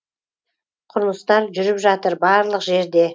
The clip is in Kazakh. құрылыстар жүріп жатыр барлық жерде